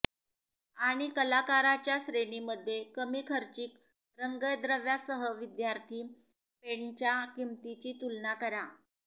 आणि कलाकाराच्या श्रेणींमध्ये कमी खर्चिक रंगद्रव्यासह विद्यार्थी पेंटच्या किंमतींची तुलना करा